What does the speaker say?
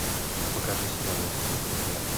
покажи сериал острые предметы